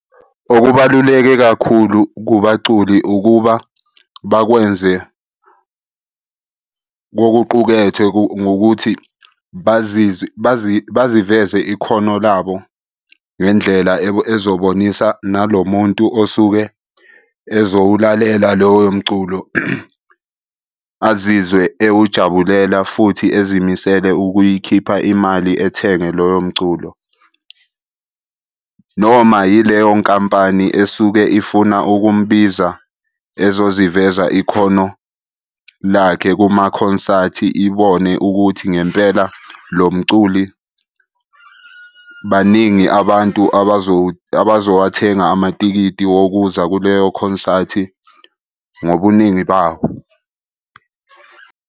Okubaluleke kakhulu kubaculi ukuba bakwenze kokuqukethwe ngokuthi baziveze ikhono labo ngendlela ezobonisa nalo muntu osuke ezowulalela loyo mculo. Azizwe ewujabulela futhi ezimisele ukuyikhipha imali ethenge loyo mculo, noma yileyo nkampani esuke ifuna ukumbiza ezoziveza ikhono lakhe kumakhonsathi, ibone ukuthi ngempela lo mculi baningi abantu abazowathenga amatikiti wokuzwa kuleyo khonsathi ngobuningi bawo.